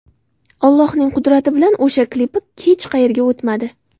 Allohning qudrati bilan o‘sha klipi hech qayerga o‘tmadi.